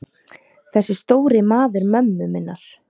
Þessi stóri maður mömmu minnar.